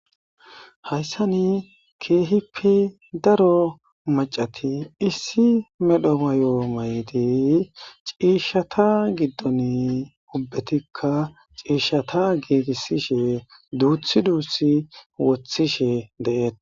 Hayssani keehippe daro macati issi medho mayo maydi ciishshata giddon ubbetikka ciishshata geegisishe duuthi duusi wothishe deete.